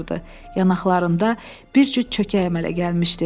Yanaqlarında bir cüt çökək əmələ gəlmişdi.